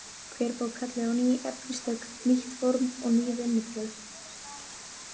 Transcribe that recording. Hver bók kalli á ný efnistök, nýtt form og ný vinnubrögð.